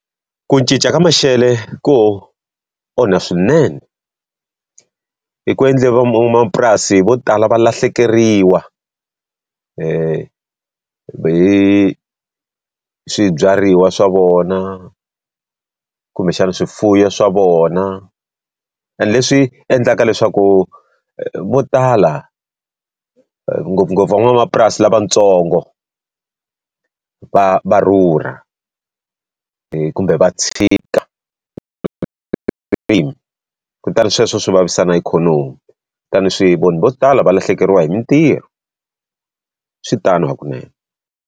Ku cinca ka maxelo ku onha swinene. I ku endle van'wamapurasi vo tala va lahlekeriwa hi swibyariwa swa vona, kumbexana swifuwo swa vona, ene leswi endlaka leswaku vo tala ngopfungopfu van'wamapurasi lavatsongo, va va rhurha. Kumbe va tshika kutani sweswo swi vavisa na ikhonomi, swi vanhu vo tala va lahlekeriwa hi mitirho. Swi tani hakunene.